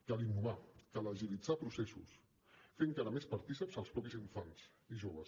cal innovar cal agilitzar processos fer encara més partícips els mateixos infants i joves